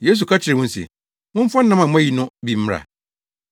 Yesu ka kyerɛɛ wɔn se, “Momfa nam a moayi no bi mmra.”